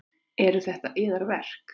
Eru þetta yðar verk?